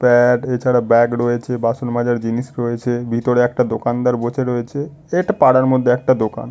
প্যা-অ্যা-ড এছাড়া ব্যাগ রয়েছে বাসন মাজার জিনিস রয়েছে। ভিতরে একটা দোকানদার বসে রয়েছে। এটা পাড়ার মধ্যে একটা দোকান --